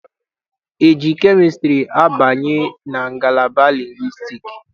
E ji kemịstrị abanye ngalaba lingwistiks?